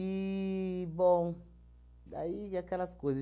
bom, daí aquelas coisas.